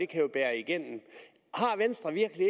kan bære igennem har venstre virkelig